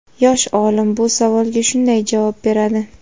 Yosh olim bu savolga shunday javob beradi:.